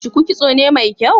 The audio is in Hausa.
shuku kitso ne mai kyau?